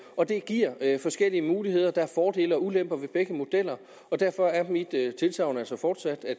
og det giver forskellige muligheder der er fordele og ulemper ved begge modeller og derfor er mit tilsagn altså fortsat at